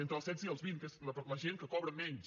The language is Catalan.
entre els setze i els vint que és la gent que cobra menys